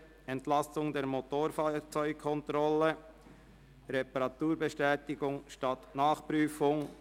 «Entlastung der Motorfahrzeugkontrolle: Reparaturbestätigung statt Nachprüfung».